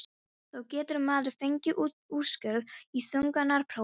þá getur maður fengið úrskurð í þungunarprófi.